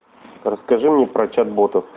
расскажи мне про чат ботов